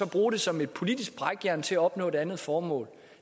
bruge det som et politisk brækjern til at opnå et andet formål